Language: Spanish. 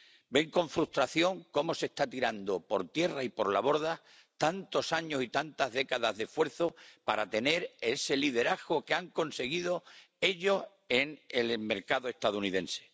Ven con frustración cómo se están tirando por tierra y por la borda tantos años y tantas décadas de esfuerzo para tener ese liderazgo que habían conseguido ellos en el mercado estadounidense.